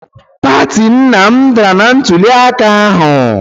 Pati nna m dara na ntuliaka ahụ.